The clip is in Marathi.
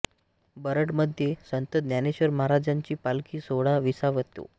बरड मध्ये संत ज्ञानेश्वर महाराजांची पालखी सोहळा विसावतो